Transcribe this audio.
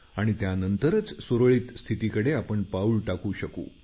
आणि त्यानंतर सुरळीत स्थितीकडे आपण पाऊल टाकू शकू